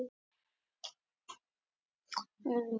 Tekist á um vökva í handfarangri